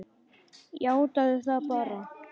Játaðu það bara!